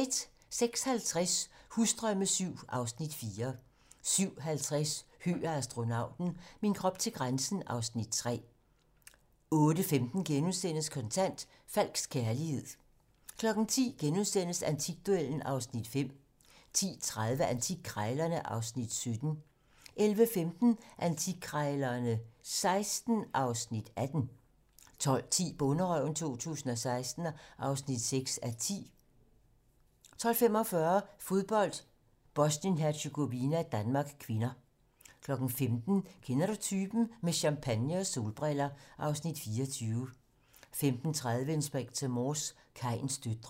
06:50: Husdrømme VII (Afs. 4) 07:50: Høgh og astronauten - min krop til grænsen (Afs. 3) 08:15: Kontant: Falsk kærlighed * 10:00: Antikduellen (Afs. 5)* 10:30: Antikkrejlerne (Afs. 17) 11:15: Antikkrejlerne XVI (Afs. 18) 12:10: Bonderøven 2016 (6:10) 12:45: Fodbold: Bosnien-Hercegovina-Danmark (k) 15:00: Kender du typen? - Med champagne og solbriller (Afs. 24) 15:30: Inspector Morse: Kains døtre